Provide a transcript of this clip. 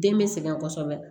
Den bɛ sɛgɛn kosɛbɛ